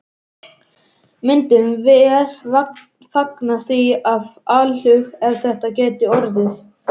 Myndum vér fagna því af alhug, ef það gæti orðið.